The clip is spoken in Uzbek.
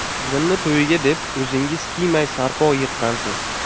Qizimni to‘yiga deb, o‘zingiz kiymay, sarpo yiqqansiz.